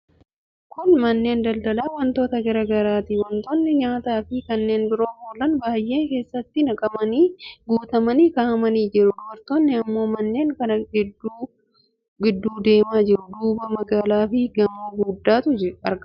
Kun manneen daldalaa wantoota garaa garaati. Wantootni nyaataafi kanneen biroof oolan baay'een keeshaatti naqamanii, guutamanii kaa'amanii jiru. Dubartoonni immoo manneen kana gidduu gidduu deemaa jiru. Duubaan magaalaafi gamoo guguddaatu argama.